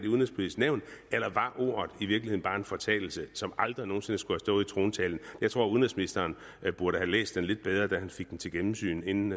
udenrigspolitisk nævn eller var ordet i virkeligheden bare en fortalelse og som aldrig nogen sinde skulle have stået i trontalen jeg tror at udenrigsministeren burde have læst talen lidt bedre da han fik den til gennemsyn inden